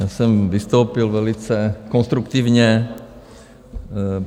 Já jsem vystoupil velice konstruktivně.